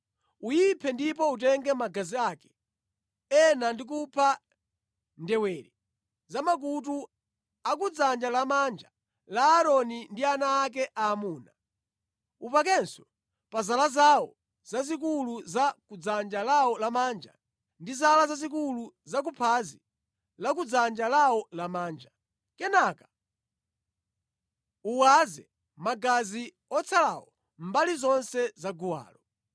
Uyiphe ndipo utenge magazi ake ena ndi kupaka ndewere za makutu a kudzanja lamanja la Aaroni ndi ana ake aamuna. Upakenso pa zala zawo zazikulu za kudzanja lawo lamanja, ndi zala zazikulu za kuphazi lakudzanja lawo lamanja. Kenaka uwaze magazi otsalawo mbali zonse za guwalo.